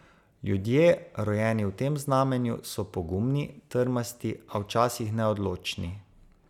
Ljudje, rojeni v tem znamenju, so pogumni, trmasti, a včasih neodločni.